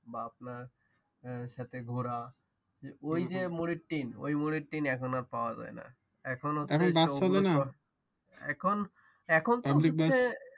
তার সাথে ঘোড়া ওইযে মুরিট্টিন ওই মুরিট্টিন এখন আর পাওয়া যায় না এখন এখন বাস চলে নাহ এখন হচ্ছে